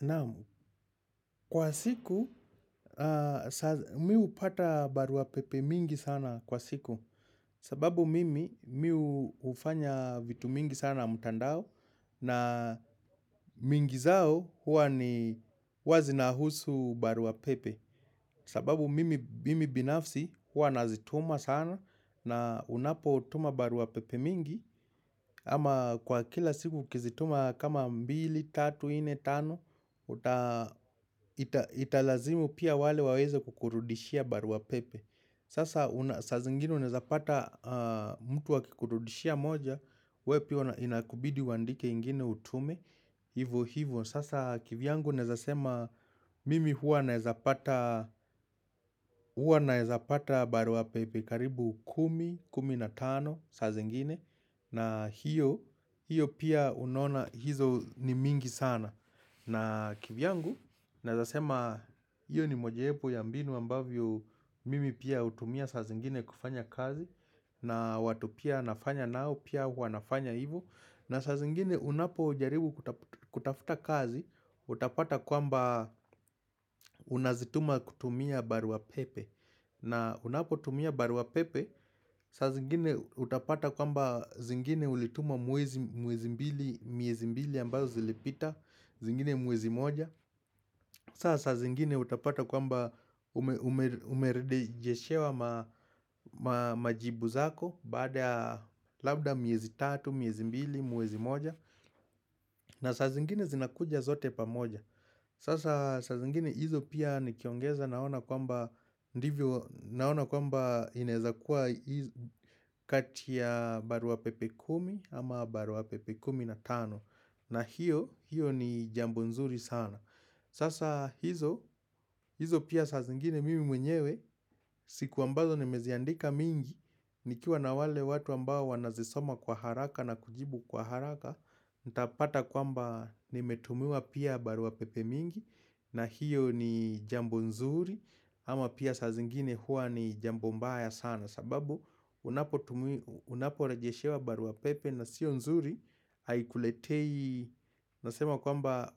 Naam kwa siku mi hupata baruapepe mingi sana kwa siku. Sababu mimi mi hufanya vitu mingi sana mtandao na mingi zao huwa ni huwa zinahusu baruapepe. Sababu mimi binafsi huwa nazituma sana na unapotuma baruapepe mingi ama kwa kila siku ukizituma kama mbili, tatu, nne, tano Italazimu pia wale waweze kukurudishia barua pepe Sasa unaezapata mtu akikurudishia moja we pia inakubidi uandike ingine utume hivo hivo. Sasa kivyangu naeza sema Mimi huwa naweza pata barua pepe karibu kumi, kumi na tano saa zingine na hiyo pia unaona hizo ni mingi sana na kivyangu, naeza sema hiyo ni mojawepo ya mbinu ambavyo mimi pia hutumia saa zingine kufanya kazi na watu pia nafanya nao, pia wanafanya hivo, na saa zingine unapo ujaribu kutafuta kazi, utapata kwamba unazituma kutumia barua pepe na unapo tumia barua pepe, saa zingine utapata kwamba zingine ulituma miezi mbili ambazo zilipita zingine mwezi moja, sa saa zingine utapata kwamba umerejeshewa majibu zako, baada ya labda miezi tatu, miezi mbili, mwezi moja, na saa zingine zinakuja zote pamoja. Sasa saa zingine hizo pia nikiongeza naona kwamba Naona kwamba inaeza kuwa kati ya barua pepe kumi ama barua pepe kumi na tano. Na hiyo, hiyo ni jambo nzuri sana. Sasa hizo pia saa zingine mimi mwenyewe siku ambazo nimeziandika mingi nikiwa na wale watu ambao wanazisoma kwa haraka na kujibu kwa haraka nitapata kwamba nimetumiwa pia barua pepe mingi na hiyo ni jambo nzuri ama pia saa zingine huwa ni jambo mbaya sana sababu unaporejeshewa baruapepe na sio nzuri, haikuletei nasema kwamba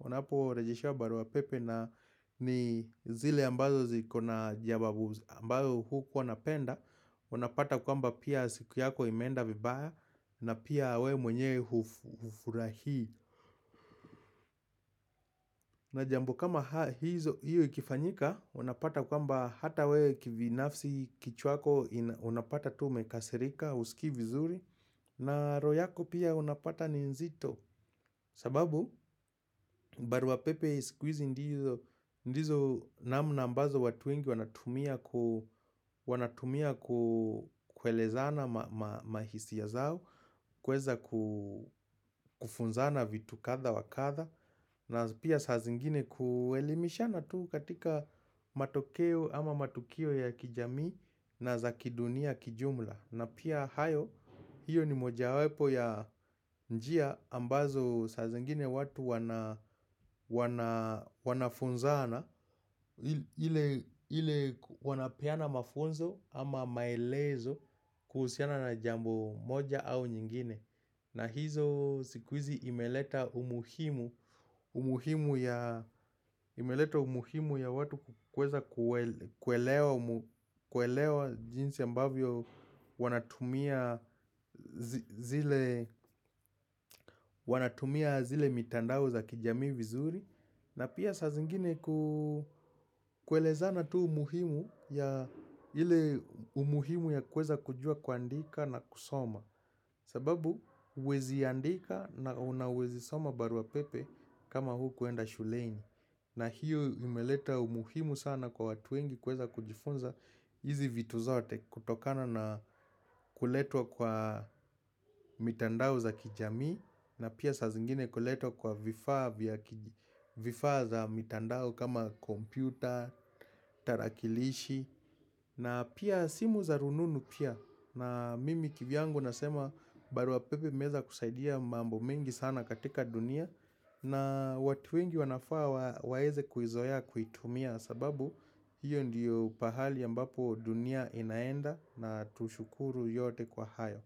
unaporejeshewa baruapepe na ni zile ambazo ziko na jawabu ambazo hukuwa unapenda, unapata kwamba pia siku yako imeenda vibaya na pia wewe mwenyewe hufurahii na jambo kama hiyo ikifanyika, unapata kwamba hata wewe kibinafsi kichwako unapata tu umekasirika husikii vizuri na roho yako pia unapata ni nzito. Sababu baruapepe siku hizi ndizo ndizo namna ambazo watu wengi wanatumia kuelezana mahisia zao, kuweza kufunzana vitu kadha wa kadha na pia saa zingine kuelimishana tu katika matokeo ama matukio ya kijamii na za kidunia kijumla. Na pia hayo hiyo ni moja wapo ya njia ambazo saa zingine watu wanafunzana ile wanapeana mafunzo ama maelezo kuhusiana na jambo moja au nyingine. Na hizo siku hizi imeleta umuhimu ya watu kuweza kuelewa jinsi ambavyo wanatumia zile mitandao za kijamii vizuri, na pia saa zingine kuelezana tu umuhimu ya ile umuhimu ya kuweza kujua kuandika na kusoma sababu huwezi andika na unaweza soma baruapepe kama hukuenda shuleni na hiyo imeleta umuhimu sana kwa watu wengi kuweza kujifunza hizi vitu zote kutokana na kuletwa kwa mitandao za kijamii na pia saa zingine kuletwa kwa vifaa za mitandao kama kompyuta, tarakilishi na pia simu za rununu pia, na mimi kivyangu nasema barua pepe imeweza kusaidia mambo mengi sana katika dunia na watu wengi wanafaa waweze kuizoea kuitumia sababu hiyo ndiyo pahali ambapo dunia inaenda na tushukuru yote kwa hayo.